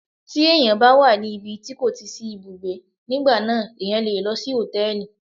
Tí ẹ̀yàn bá wà ní ibi tí kò ti sí ibùgbé, nígbà náà ẹ̀yàn le lọ sí Hòtẹ́lìì.